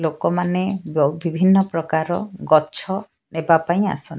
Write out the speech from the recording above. ଲୋକମାନେ ବିଭିନ୍ନ ପ୍ରକାରର ଗଛ ନେବା ପାଇଁ ଆସ --